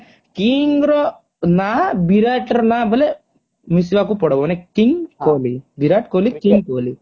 king ର ନା ବିରାଟ ର ନା ବୋଇଲେ ମିଶିବାକୁ ପଡବୋ ମାନେ king କୋହଲି ବିରାଟ କୋହଲି king କୋହଲି